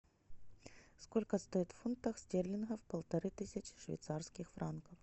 сколько стоит в фунтах стерлингов полторы тысячи швейцарских франков